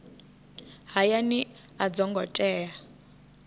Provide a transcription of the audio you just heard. hayani a dzo ngo tea